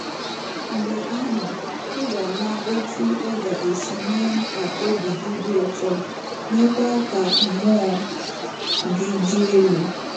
Mgbe ahụ, ị ga-ama otú ọ ga-esi mee ka obi dị gị ụtọ, meekwa ka mmụọ gị dị elu